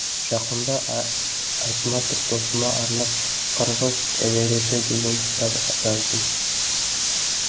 жақында айтматов досыма арнап қырғыз эвересі деген кітап жаздым